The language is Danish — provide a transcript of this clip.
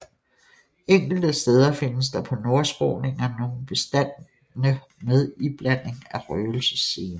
Enkelte steder findes der på nordskråningerne nogle bestande med iblanding af røgelsesene